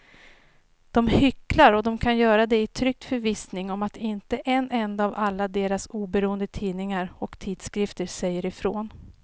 De hycklar och de kan göra det i trygg förvissning om att inte en enda av alla deras oberoende tidningar och tidskrifter säger ifrån.